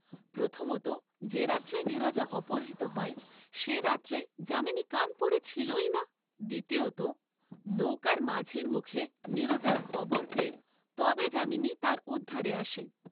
প্রথমতঃ যে রাত্রে নীরজা অপহৃত হয়, সে রাত্রে যামিনী কানপুরে ছিলই না; দ্বিতীয়ত, নৌকার মাঝির মুখে নীরজার খবর পেয়ে তবে যামিনী তার উদ্ধারে আসে।